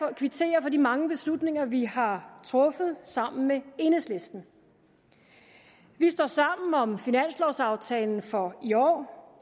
kvittere for de mange beslutninger vi har truffet sammen med enhedslisten vi står sammen om finanslovsaftalen for i år